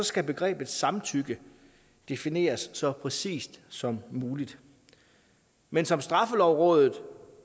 skal begrebet samtykke defineres så præcist som muligt men som straffelovrådet